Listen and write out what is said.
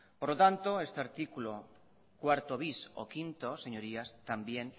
por lo tanto este artículo cuatro bis o cinco señorías también